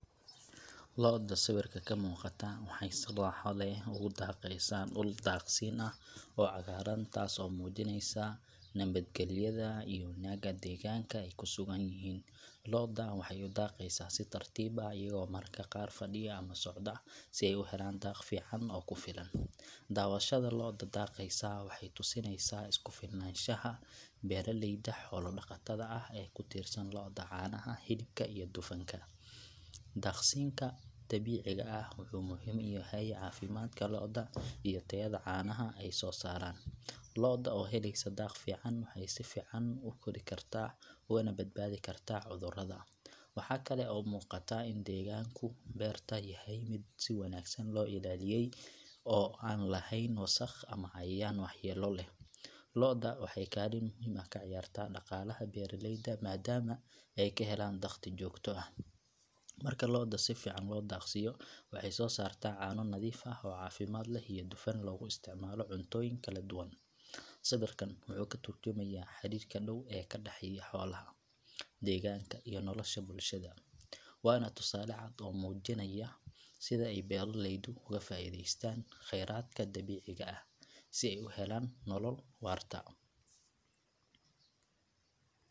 Lo’da sawirka ka muuqata waxay si raaxo leh ugu daaqaysaa dhul daaqsin ah oo cagaaran taas oo muujinaysa nabadgelyada iyo wanaagga deegaanka ay ku sugan yihiin. Lo’da waxay u daaqaysaa si tartiib ah iyagoo mararka qaar fadhiya ama socda si ay u helaan daaq fiican oo ku filan. Daawashada lo’da daaqaysa waxay tusinaysaa isku filnaanshaha beeraleyda xoolo dhaqatada ah ee ku tiirsan lo’da caanaha, hilibka iyo dufanka. Daaqsinka dabiiciga ah wuxuu muhiim u yahay caafimaadka lo’da iyo tayada caanaha ay soo saaraan. Lo’da oo helaysa daaq fiican waxay si fiican u kori kartaa ugana badbaadi kartaa cudurrada. Waxaa kale oo muuqata in deegaanka beertu yahay mid si wanaagsan loo ilaaliyey oo aan lahayn wasakh ama cayayaan waxyeello leh. Lo’da waxay kaalin muhiim ah ka ciyaartaa dhaqaalaha beeraleyda maadaama ay ka helaan dakhli joogto ah. Marka lo’da si fiican loo daaqsiiyo waxay soo saartaa caano nadiif ah oo caafimaad leh iyo dufan loogu isticmaalo cuntooyin kala duwan. Sawirkan wuxuu ka turjumayaa xiriirka dhow ee ka dhexeeya xoolaha, deegaanka iyo nolosha bulshada. Waana tusaale cad oo muujinaya sida ay beeraleydu uga faa’iideystaan khayraadka dabiiciga si ay u helaan nolol waarta.